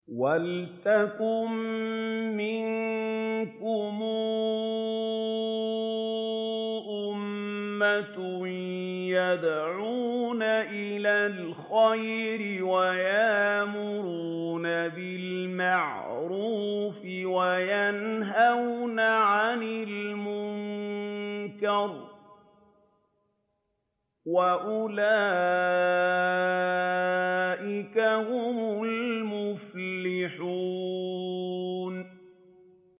وَلْتَكُن مِّنكُمْ أُمَّةٌ يَدْعُونَ إِلَى الْخَيْرِ وَيَأْمُرُونَ بِالْمَعْرُوفِ وَيَنْهَوْنَ عَنِ الْمُنكَرِ ۚ وَأُولَٰئِكَ هُمُ الْمُفْلِحُونَ